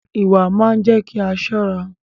Ìwà máa ń jé kí a ṣọ́ra